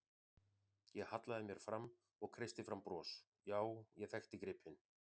Ég hallaði mér fram og kreisti fram bros, já, ég þekkti gripinn.